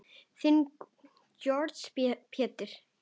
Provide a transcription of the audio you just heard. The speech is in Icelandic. Þinn Georg Pétur.